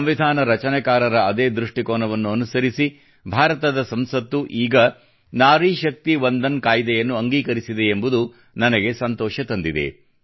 ಸಂವಿಧಾನ ರಚನೆಕಾರರ ಅದೇ ದೃಷ್ಟಿಕೋನವನ್ನು ಅನುಸರಿಸಿ ಭಾರತದ ಸಂಸತ್ತು ಈಗ ನಾರಿ ಶಕ್ತಿ ವಂದನ್ ಕಾಯ್ದೆಯನ್ನು ಅಂಗೀಕರಿಸಿದೆ ಎಂಬುದು ನನಗೆ ಸಂತೋಷ ತಂದಿದೆ